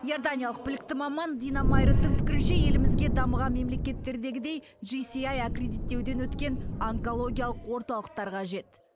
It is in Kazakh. иорданиялық білікті маман дина майредтің пікірінше елімізге дамыған мемлекеттердегідей жисиаи аккредиттеуден өткен онкологиялық орталықтар қажет